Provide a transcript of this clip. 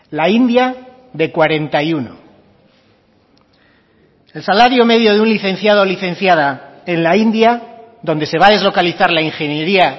la india de cuarenta y uno el salario medio de un licenciado licenciada en la india donde se va deslocalizar la ingeniería